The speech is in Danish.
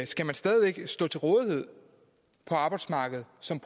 skal man stadig væk stå til rådighed for arbejdsmarkedet som